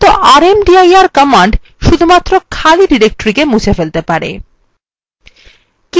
কিন্তু সাধারণত rmdir command শুধুমাত্র খালি directoryকে মুছে ফেলতে পারে